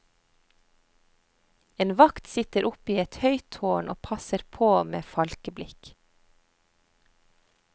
En vakt sitter oppe i et høyt tårn og passer på med falkeblikk.